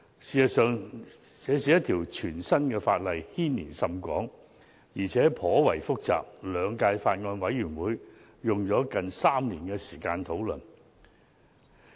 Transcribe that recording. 事實上，這是一項全新的法例，牽連甚廣，而且頗為複雜，兩屆法案委員會花了接近3年時間進行討論。